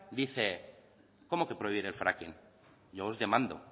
dice cómo que prohibir el fracking yo os demando